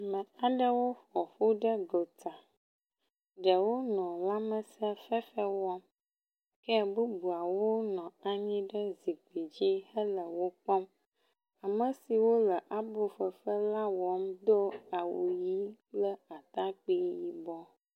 Ame aɖewo ƒoƒu ɖe gota. Ɖewo nɔ lãmesẽ fefe wɔm ke bubuawo nɔ anyi ɖe zikpui dzi henɔ wokpɔm. Ame siwo le aboƒoƒe la wɔ nu do awu ʋi kple atakpui yibɔ